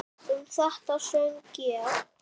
Um þetta söng ég